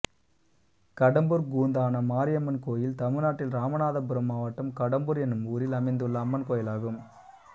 கடம்பூர் கூந்தான மாரியம்மன் கோயில் தமிழ்நாட்டில் இராமநாதபுரம் மாவட்டம் கடம்பூர் என்னும் ஊரில் அமைந்துள்ள அம்மன் கோயிலாகும்